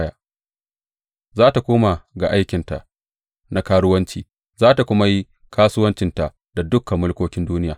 Za tă koma ga aikinta na karuwanci za tă kuma yi kasuwancinta da dukan mulkokin duniya.